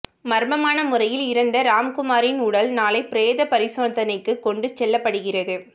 மர்மமான முறையில் இறந்த ராம்குமாரின் உடல் நாளை பிரேத பரிசோதனைக்கு கொண்டு செல்லப்படுகிறது